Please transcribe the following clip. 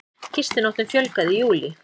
Gistinóttum fjölgaði í júlí